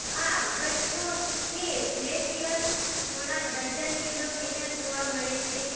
આ ગઠ્ઠો સ્થિર ગ્લેસિયર થોડા ડઝન કિલોમીટર જોવા મળે છે